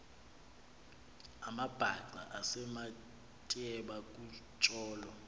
amabhaca esematyeba kutsolo